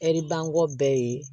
Ɛri bangkɔ bɛɛ ye